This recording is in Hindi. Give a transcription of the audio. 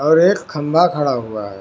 और एक खंभा खड़ा हुआ है।